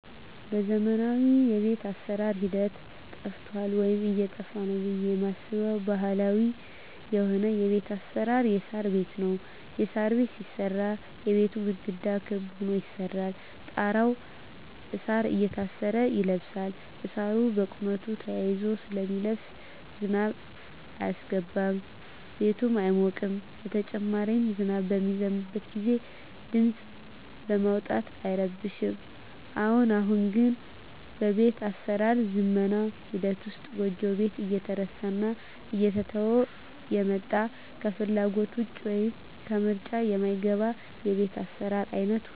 በዘመናዊ የቤት አሰራር ሂደት ጠፍቷል ወይም እየጠፋ ነው ብየ ማስበው ባህላዊ የሆነው የቤት አሰራር የሳር ቤት ነው። የሳር ቤት ሲሰራ የቤቱ ግድግዳ ክብ ሁኖ ይሰራና ጣራው እሳር እየታሰረ ይለብሳል እሳሩ በቁመቱ ተያይዞ ስለሚለብስ ዝናብ አያስገባም ቤቱም አይሞቅም በተጨማሪም ዝናብ በሚዘንብበት ግዜ ድምጽ በማውጣት አይረብሽም። አሁን አሁን ግን በቤት አሰራር ዝመና ሂደት ውስጥ ጎጆ ቤት እየተረሳና እየተተወ የመጣ ከፍላጎት ውጭ ወይም ከምርጫ ማይገባ የቤት አሰራር አይነት ሁኗል።